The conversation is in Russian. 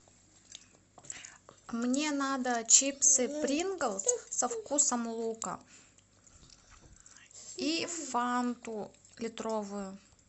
мне надо чипсы принглс со вкусом лука и фанту литровую